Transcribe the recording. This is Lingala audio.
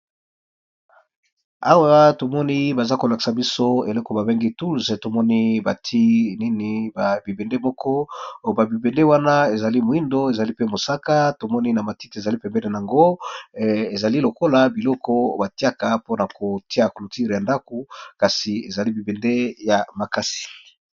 Awa tomoni bazolakisa biso bibende ya moyindo, musaka matiti eza pembeni eza bibende batiyaka na clôture eza makasi.